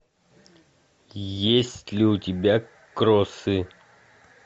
есть ли у тебя кроссы